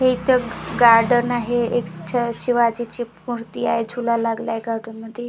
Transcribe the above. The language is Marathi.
हे इथं एक गार्डन आहे एक छ शिवाजीची मूर्ती आहे झुला लागला आहे गार्डन मध्ये.